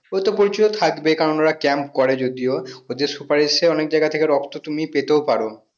সে তো পরিচয় থাকবেই কারণ ওরা camp করে যদিও ওদের সুপারিশে অনেক জায়গা থেকে রক্ত তুমি পেতেও পারো